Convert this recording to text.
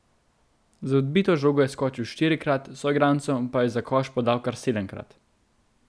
Za odbito žogo je skočil štirikrat, soigralcem pa je za koš podal kar sedemkrat.